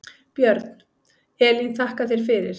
Björn: Elín þakka þér fyrir.